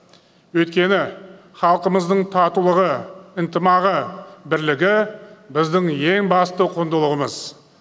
өйткені халқымыздың татулығы ынтымағы бірлігі біздің ең басты құндылығымыз